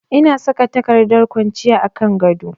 Ina saka takardar ƙwanciya a kan gado